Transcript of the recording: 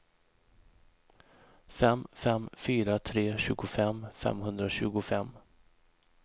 fem fem fyra tre tjugofem femhundratjugofem